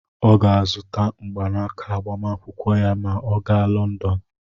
Ọ ga-azụta mgbanaka agbamakwụkwọ ya ma ọ gaa Lọndọn.